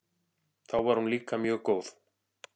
Þá var hún líka mjög góð.